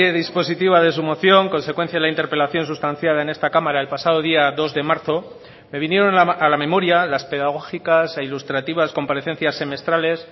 dispositiva de su moción consecuencia de la interpelación sustanciada en esta cámara el pasado día dos de marzo me vinieron a la memoria las pedagógicas e ilustrativas comparecencias semestrales